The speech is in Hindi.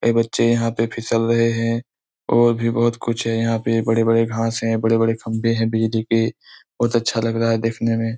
ऐ बच्चे यहाँ पे फिसल रहें हैं और भी बहुत कुछ है। यहाँ पे बड़े-बड़े घास हैं बड़े-बड़े खम्भे हैं बिजली के। बहुत अच्छा लग रहा है देखने में।